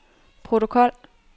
protokol